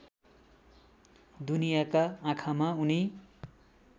दुनियाँका आँखामा उनी